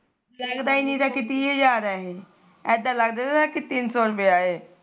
ਲੱਗਦਾ ਈ ਨੀ ਤਾ ਕਿ ਤੀਹ ਹਾਜਰ ਏ ਇਦਾ ਲੱਗਦਾ ਤਾ ਕਿ ਤਿੰਨ ਸੋ ਰੁਪੀਆ ਇਹ